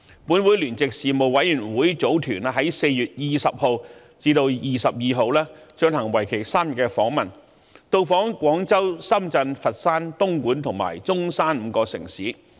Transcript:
本會聯席事務委員會組團於4月20日至22日進行為期3天的訪問，到訪廣州、深圳、佛山、東莞及中山5個城市。